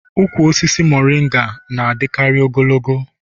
ụkwụ osisi moringa tress na-adịkarị ogologo